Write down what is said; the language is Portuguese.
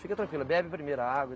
Fica tranquila, bebe primeiro a água.